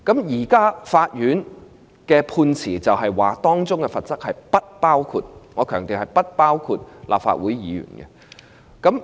在現階段，法院的判詞指出，相關罰則不包括——我強調是不包括——立法會議員。